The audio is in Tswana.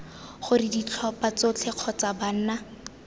gore ditlhopha tsotlhe kgotsa banna